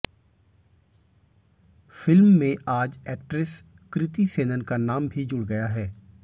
film में आज actress Kriti Sanon का नाम भी जुड़ गया है